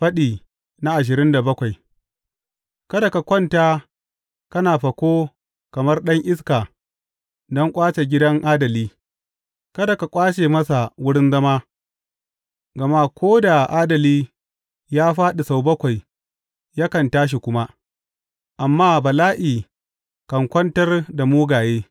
Faɗi ashirin da bakwai Kada ka kwanta kana fako kamar ɗan iska don ƙwace gidan adali, kada ka ƙwace masa wurin zama; gama ko da adali ya fāɗi sau bakwai, yakan tashi kuma, amma bala’i kan kwantar da mugaye.